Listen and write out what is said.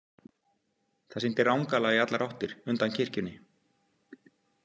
Það sýndi rangala í allar áttir undan kirkjunni.